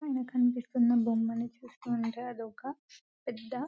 పైన కనిపిస్తున్న బొమ్మను చూస్తూ ఉంటే అదొక పెద్ద --